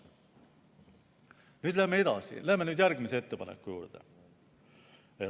Nüüd läheme edasi, läheme järgmise ettepaneku juurde.